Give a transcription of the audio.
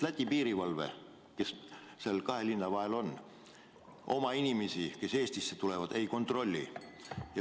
Läti piirivalve, kes seal kahe linna vahel on, oma inimesi, kes Eestisse tulevad, ei kontrolli.